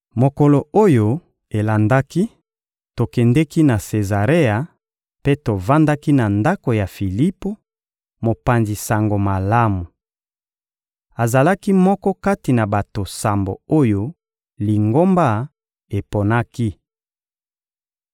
Mokolo oyo elandaki, tokendeki na Sezarea mpe tovandaki na ndako ya Filipo, mopanzi Sango Malamu. Azalaki moko kati na bato sambo oyo Lingomba eponaki.